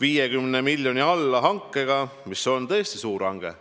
50 miljoni euro suuruse allhankega, mis on tõesti suur hange.